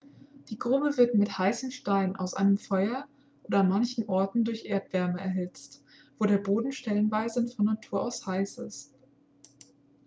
die grube wird mit heißen steinen aus einem feuer oder an manchen orten durch erdwärme erhitzt wo der boden stellenweise von natur aus heiß ist